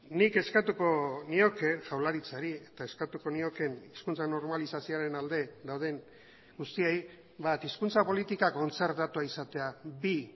nik eskatuko nioke jaurlaritzari eta eskatuko niokeen hizkuntza normalizazioaren alde dauden guztiei hizkuntza politika kontzertatua izatea bi